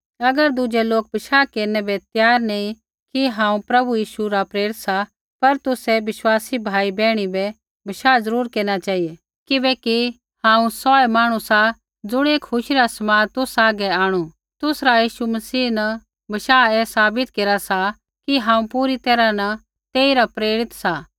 अगर दुज़ै लोक बशाह केरनै बै त्यार नैंई कि हांऊँ प्रभु यीशु रा प्रेरित सा पर तुसै विश्वासी भाई बैहणियो बै बशाह ज़रूर केरना चेहिऐ किबेकी हांऊँ सौऐ मांहणु सा ज़ुणियै खुशी रा समाद तुसा हागै आंणु तुसरा यीशु मसीह न बशाह ऐ साबित केरा सा कि हांऊँ पूरी तैरहा न तेइरा प्रेरित सा